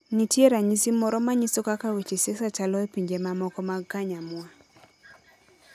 Nitie ranyisi moro manyiso kaka weche siasa chalo e pinje mamoko magkanyamwa.